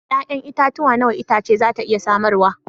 Ya'yan itatuwa nawa itace za ta iya samarwa?